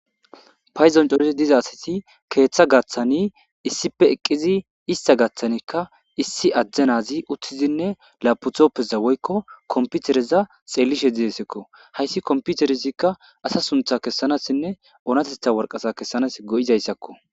Payzon coresi diza asati keeththa gaththani issipe eqqizi ista gaaththanikka issi ajjanazi uttizinne laputhoppeza woykko komputereza xelishe dzidesekko hayssi komputerezikka asa suntha kessanassinne oonatetha warqasa kessanas go7izayssakko.